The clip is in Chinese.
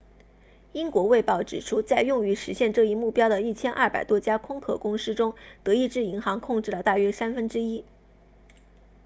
英国卫报指出在用于实现这一目标的1200家空壳公司中德意志银行控制了大约三分之一